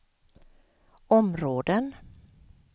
områden